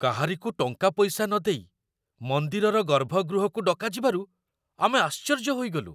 କାହାରିକୁ ଟଙ୍କାପଇସା ନଦେଇ ମନ୍ଦିରର ଗର୍ଭଗୃହକୁ ଡକାଯିବାରୁ ଆମେ ଆଶ୍ଚର୍ଯ୍ୟ ହୋଇଗଲୁ।